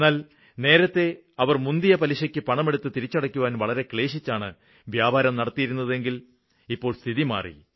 എന്നാല് നേരത്തെ അവര് മുന്തിയ പലിശയ്ക്ക് പണമെടുത്ത് തിരിച്ചടയ്ക്കാന് വളരെ ക്ലേശിച്ചാണ് വ്യാപാരം നടത്തിയിരുന്നതെങ്കില് ഇപ്പോള് സ്ഥിതി മാറി